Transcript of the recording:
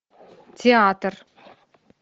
театр